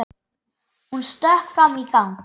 Hún stökk fram í gang.